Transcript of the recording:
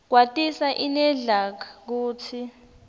kwatisa inedlac kutsi